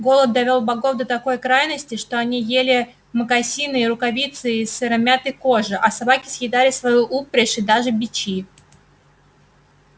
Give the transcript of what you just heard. голод довёл богов до такой крайности что они ели мокасины и рукавицы из сыромятной кожи а собаки съедали свою упряжь и даже бичи